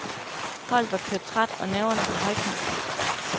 Holdet var kørt træt og nerverne på højkant.